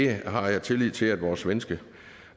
jeg har tillid til at vores svenske